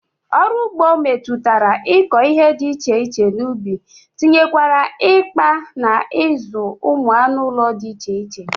Ọrụ ụgbọ metụtara ịkọ ihe dị iche iche n'ubi tinyekwara ịkpa na ịzụ ụmụ anụụlọ dị iche iche